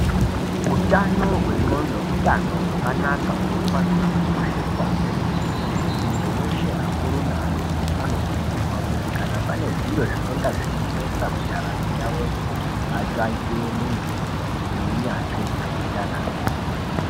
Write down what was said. Utano hwe nxondo utano hwakanaka hunofanirwe kukosheswa kwemene muntu weshe akuru neadoko anokurudzirwa kuti kana pane zviro zvinonga zveinesa mundaramo yavoyo vatsvake muntu uneunyanzvi wekureketa naye.